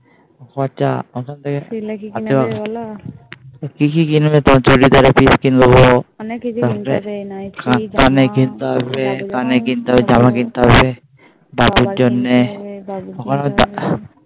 খরচা ওখান থেকে হাতিবাগান সেলে কি কিনে দেবে বোলো কি কি কিনবে চুড়িদারের পিস কিনে দেব তারপর অনেক কিছু কিনতে হবে নাইটি কানের কিনতে কানের কিনতে হবে জামা কিনতে হবে দাদুর জন্যে বাবার জন্যে